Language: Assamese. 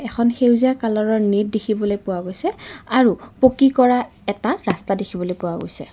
এখন সেউজীয়া কালাৰৰ নেট দেখিবলৈ পোৱা গৈছে আৰু পকী কৰা এটা ৰাস্তা দেখিবলৈ পোৱা গৈছে।